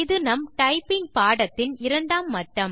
இது நம் டைப்பிங் பாடத்தின் 2 ஆம் மட்டம்